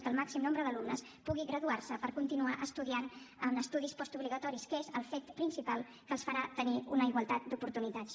que el màxim nombre d’alumnes pugui graduar se per continuar estudiant en estudis postobligatoris que és el fet principal que els farà tenir una igualtat d’oportunitats